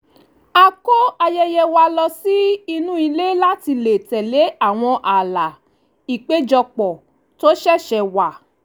a kó ayẹyẹ wa lọ sí inú ilé láti lè tẹ̀lé àwọn ààlà ìpéjọpọ̀ tó ṣẹ̀ṣẹ̀ wà